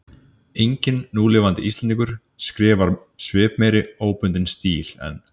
Enginn núlifandi Íslendingur skrifar svipmeiri óbundinn stíl en